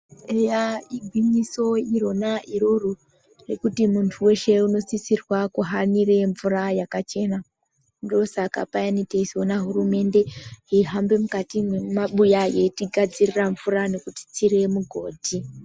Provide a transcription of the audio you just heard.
Eya igwinyiso irona iroro, rekuti muntu weshe unosisirwa kuhanira mvura yakachena. Ndosaka payani teizoona hurumende yeihambe mukati mwemabuya yeitigadzirira mvura kutitsire migodhi.